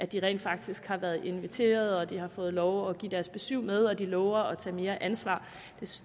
de rent faktisk har været inviteret og at de har fået lov at give deres besyv med og at de lover at tage mere ansvar